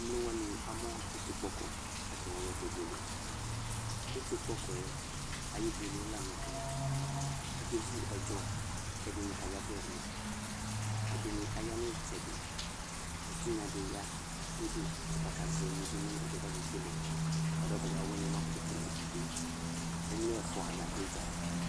emlowani amʋ iti kpɔkɔ kʋ atani ayɔ kebʋele iti kpɔkɔɛ ayʋ ibʋele la nʋ tɛɛ akevʋ ɛdzɔɔ kɛdini kayavɛli ɛdini aya nʋ itsɛdi ɛtinya di ya nʋ ʋdʋ kɔta kazɛ emʋdʋ nʋ ɛdiɛ kake kelee ƒʋadʋ ɔtabi awini kɔma kʋtʋ kele ɛdi emlo eƒʋa la dʋ idzaɛ